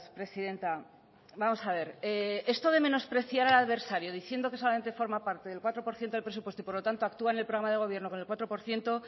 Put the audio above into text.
presidenta vamos a ver esto de menospreciar al adversario diciendo que solamente forma parte del cuatro por ciento del presupuesto y por lo tanto actúa en el programa de gobierno con el cuatro por ciento